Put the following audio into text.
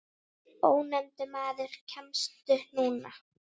Ónefndur maður: Kemstu núna?